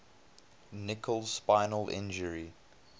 nicholls spinal injury